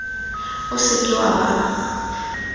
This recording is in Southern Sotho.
o se ke wa be